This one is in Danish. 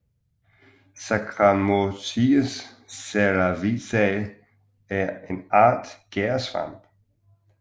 Saccharomyces cerevisiae er en art gærsvamp